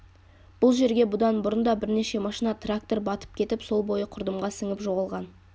бұл жерге бұдан бұрында бірнеше машина трактор батып кетіп сол бойы құрдымға сіңіп жоғалған